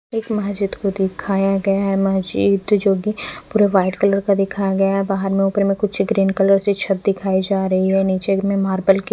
एक महाजित को दिखाया गया है महाजित जो भी पूरा वाइट कलर का दिखाया गया है बाहर कुछ ग्रीन कलर छत दिखाई जा रही है निचे में मार्बल के--